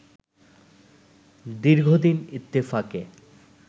দীর্ঘদিন ইত্তেফাকে